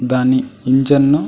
దాన్ని ఇంజిన్ ను --